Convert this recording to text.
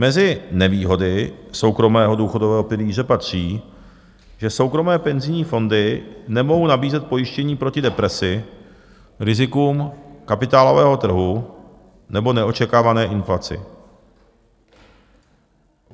Mezi nevýhody soukromého důchodového pilíře patří, že soukromé penzijní fondy nemohou nabízet pojištění proti depresi, rizikům kapitálového trhu nebo neočekávané inflaci.